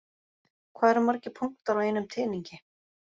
Hvað eru margir punktar á einum teningi?